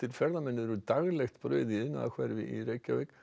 ferðamenn eru daglegt brauð í iðnaðarhverfi í Reykjavík